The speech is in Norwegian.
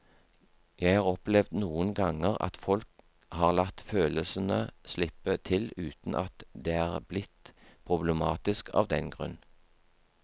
Jeg har opplevd noen ganger at folk har latt følelsene slippe til uten at det er blitt problematisk av den grunn.